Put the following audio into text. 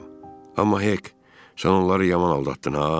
Amma Hik, sən onları yaman aldatdın ha.